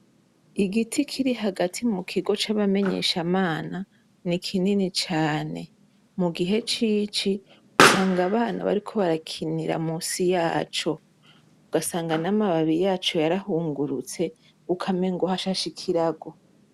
Igiti Kiri hagati mukigo c’abamenyeshamana, ni kinini cane , mugihe c’ici, usanga abana bariko barakinira musi yaco, ugasanga n’amababi yaco yarahungurutse , ukamengo hashashe ikirago.